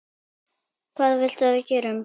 Hvað viltu að við gerum?